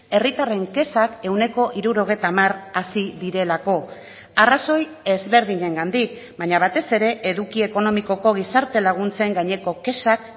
herritarren kexak ehuneko hirurogeita hamar hasi direlako arrazoi ezberdinengandik baina batez ere eduki ekonomikoko gizarte laguntzen gaineko kexak